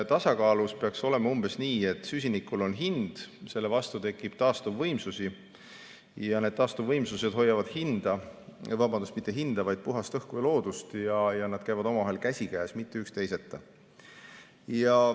Tasakaalu puhul peaks olema umbes nii, et süsinikul on hind, selle vastu tekib taastuvvõimsusi ja need taastuvvõimsused hoiavad puhast õhku ja loodust ning nad käivad käsikäes, mitte üks teiseta.